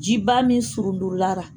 Jiba min surundulara.